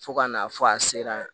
Fo ka n'a fɔ a sera yan